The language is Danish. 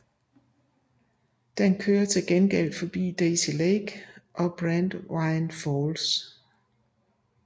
Den kører til gengæld forbi Daisy Lake og Brandywine Falls